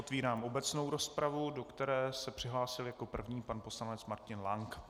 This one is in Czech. Otvírám obecnou rozpravu, do které se přihlásil jako první pan poslanec Martin Lank.